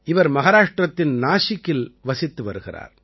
இவர் மஹாராஷ்டிரத்தின் நாசிக்கில் வசித்து வருகிறார்